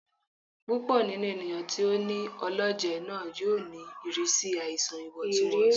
Púpọ ninú ènìyàn tí o ní ọlọjẹ náà yóò ní ìrírí àìsàn ìwọntúnwọnsí